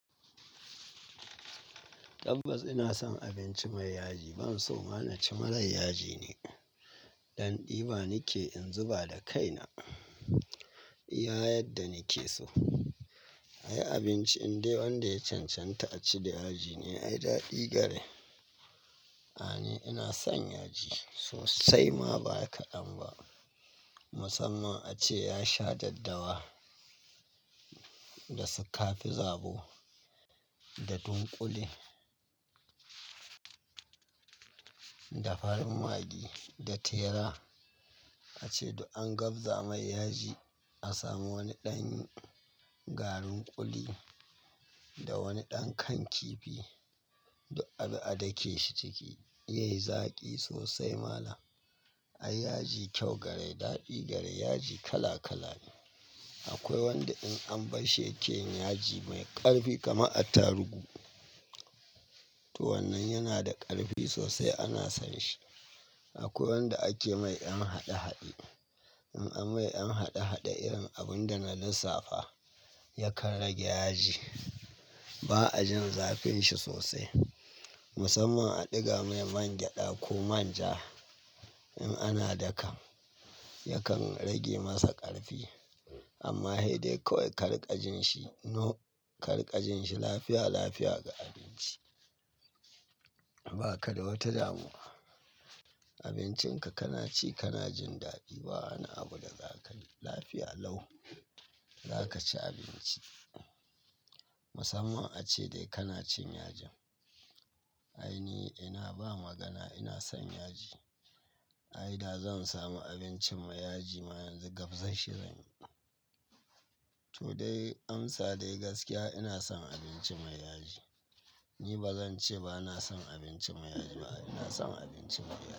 Tabbas ina son abinci mai yaji. Ban so ma na ci mara yaji ni. Dan ɗiba nake in zuba da kaina, iya yadda nake so. Ai abinci in dai wanda ya cancanta a ci da aji ne ai daɗi gare. A'a ni ina son yaji sosai ma ba kaɗan ba. Musamman ace ya sha daddawa, da su kafi zabo, da dunƙule, da farin magi, da tera. Ace duk an gabza mai yaji a sami wani ɗan garin ƙuli da wani ɗan kan kifi duk abi a dake shi cikiz yayi zaƙi sosai malam. Ai yaji kyau gare, daɗi gare yaji kala kala ne. Akwai wanda in an barshi yake yin yaji mai ƙarfi kamar atarugu. To wannan yana da ƙarfi sosai ana son shi. Akwai wanda ake mai an haɗe haɗe. In an mai ƴan haɗe haɗe irin abun da na lissafa yakan rage yaji. Ba a jin zafin shi sosai. Musamman a ɗiga mai mangyaɗa ko manja in ana dakan yakan rage masa ƙarfi. Amma he dai kawai kariƙa jin shi, no, kariƙa jin shi lafiya lafiya ga abinci. Ba ka da wata damuwa. Abincin ka, kana ci kana jin daɗi ba wani abu da zaka yi. Lafiya lau zaka ci abinci. Musamman ace dai kana cin yajin. Ai ni ina ba magana ina son yaji. Ai da zan samu abinci mai yaji ma yanzu gabzan shi zan yi. To dai amsa dai gaskiya ina son abinci mai yaji. Ni ba zan ce ba na son abinci mai yaji ba. Ina son abinci mai yaji.